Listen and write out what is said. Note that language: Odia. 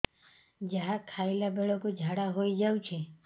ଯାହା ଖାଇଲା ବେଳକୁ ଝାଡ଼ା ହୋଇ ଯାଉଛି